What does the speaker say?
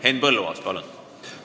Henn Põlluaas, palun!